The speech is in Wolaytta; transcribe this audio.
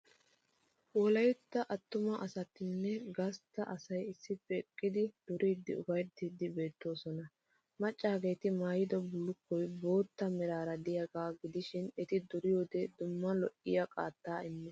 Wolaytta attuma asatinne gastta asay issippe eqqidi duriiddinne ufayttiiddi beettoosona. Maccaageeti maayido bullukkoy bootta meraara de'iyaagaa gidishin eti duriyoodee duma lo'iyaa qaattaa immees.